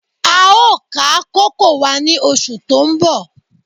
A ó ká kókò wa ní oṣù tó ń bọ̀